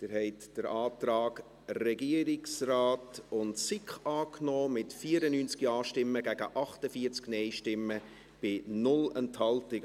Sie haben den Antrag Regierungsrat und SiK angenommen, mit 94 Ja- gegen 48 NeinStimmen bei 0 Enthaltungen.